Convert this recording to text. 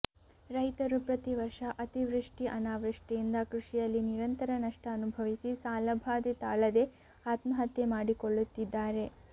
ರೈತರು ಪ್ರತಿ ವರ್ಷ ಅತಿವೃಷ್ಟಿ ಅನಾವೃಷ್ಟಿಯಿಂದ ಕೃಷಿಯಲ್ಲಿ ನಿರಂತರ ನಷ್ಟ ಅನುಭವಿಸಿ ಸಾಲಭಾದೆ ತಾಳದೆ ಆತ್ಮಹತ್ಯೆ ಮಾಡಿಕೊಳ್ಳುತ್ತಿದ್ದಾರೆ